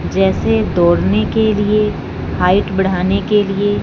जैसे दौड़ने के लिए हाइट बढ़ाने के लिए--